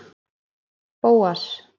Bóas